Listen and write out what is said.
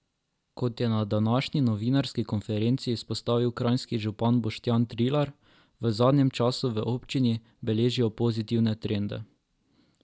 Kot je na današnji novinarski konferenci izpostavil kranjski župan Boštjan Trilar, v zadnjem času v občini beležijo pozitivne trende.